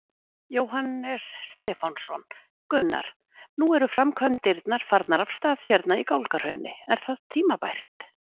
Jóhannes Stefánsson: Gunnar, nú eru framkvæmdirnar farnar af stað hérna í Gálgahrauni, er það tímabært?